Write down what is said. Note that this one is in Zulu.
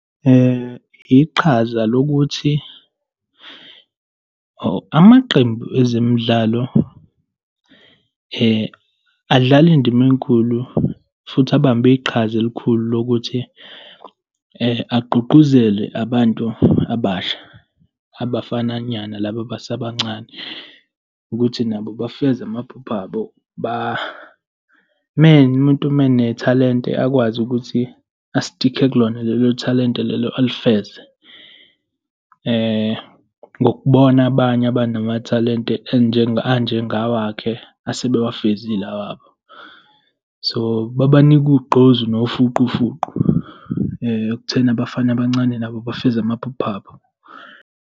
Iqhaza lokuthi amaqembu ezemidlalo adlala indima enkulu futhi abambe iqhaza elikhulu lokuthi agqugquzele abantu abasha, abafanyana laba abasebancane, ukuthi nabo bafeze amaphupho abo, umuntu menethalente akwazi ukuthi ustikhe kulona lelo thalente lelo alifeze ngokubona abanye abanamathalente anjengawakhe, asebewavezile awabo. So, babanika ugqozi nofuqufuqu ekutheni abafana abancane nabo bafeze amaphupho abo.